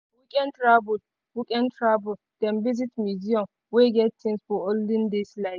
for weekend travel weekend travel dem visit museum wey get things from olden days life.